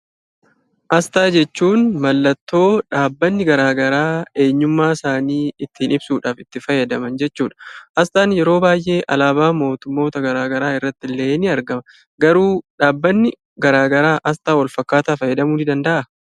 Asxaa jechuun mallattoo dhaabbanni garaa garaa eenyummaasaanii ittiin ibsuudhaaf itti fayyadaman jechuudha. Asxaan yeroo baay'ee alaabaa mootummoota garaa garaa irrattillee ni argama. Garuu dhaabbanni garaa garaa asxaa walfakkaataa fayyadamuu ni danda'aa?